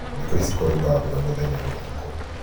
thĩkũ ici kũraura mbura mũthenya na ũtukũ